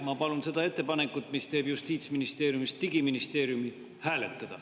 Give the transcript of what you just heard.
Ma palun seda ettepanekut, mis teeb Justiitsministeeriumist digiministeeriumi, hääletada.